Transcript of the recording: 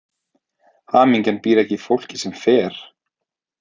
Hamingjan býr ekki í fólki sem fer.